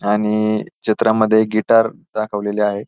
आणि चित्रामध्ये एक गिटार दाखवलेली आहे.